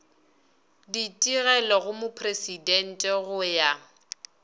ditigelo go mopresidente go ya